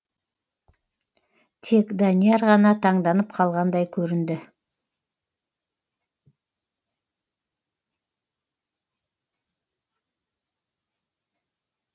тек данияр ғана таңданып қалғандай көрінді